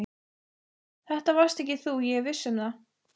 Þetta varst ekki þú, ég er viss um það.